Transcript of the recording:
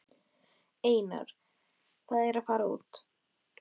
Tíminn sem liðið hefur frá síðasta miðvikudegi hefur ein